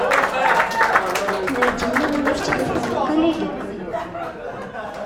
найди мне номер телефона коллеги